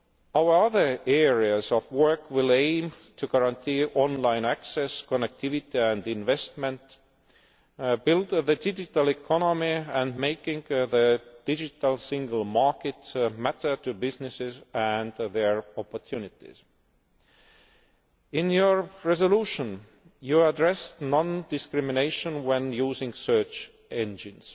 Our other areas of work will aim to guarantee online access, connectivity and investment, build the digital economy and make the Digital Single Market matter to businesses and their opportunities. In your resolution, you address non discrimination when using search engines.